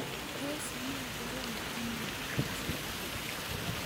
tos me korom inye ochei?